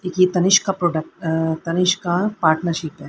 ये तनिष्क का product uh Tanishq का पार्टनरशिप है।